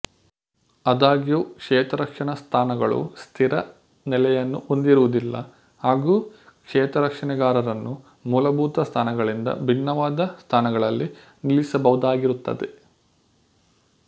ಆದಾಗ್ಯೂ ಕ್ಷೇತ್ರರಕ್ಷಣಾ ಸ್ಥಾನಗಳು ಸ್ಥಿರ ನೆಲೆಯನ್ನು ಹೊಂದಿರುವುದಿಲ್ಲ ಹಾಗೂ ಕ್ಷೇತ್ರರಕ್ಷಣೆಗಾರರನ್ನು ಮೂಲಭೂತ ಸ್ಥಾನಗಳಿಂದ ಭಿನ್ನವಾದ ಸ್ಥಾನಗಳಲ್ಲಿ ನಿಲ್ಲಿಸಬಹುದಾಗಿರುತ್ತದೆ